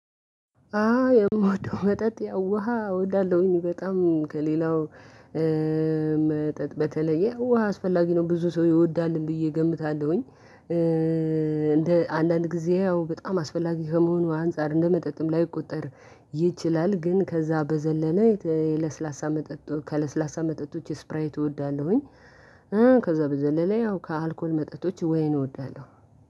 አዎ የምወደው መጠጥ ያው ውሃ እወዳለሁኝ በጣም ከሌላው መጠጥ በተለየ ውሃ አስፈላጊ ነው ብዙ ሰው ይወዳልም ብዬ እገምታለሁኝ። እንደ አንዳንድ ጊዜ ያው በጣም አስፈላጊ ከመሆኑ አንፃር እንደመጠጥም ላይቆጠር ይችላል፤ ግን ከዛ በዘለለ የለስላሳ መጠጥ ከለስላሳ መጠጦች ስፕራይት እወዳለሁኝ። ከዛ በዘለለ ያው ከአልኮል መጠጦች ወይን እወዳለሁ።